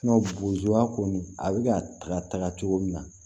a bɛ ka taga cogo min na